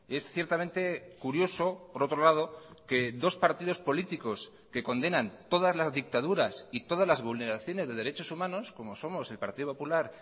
es ciertamente curioso por otro lado que dos partidos políticos que condenan todas las dictaduras y todas las vulneraciones de derechos humanos como somos el partido popular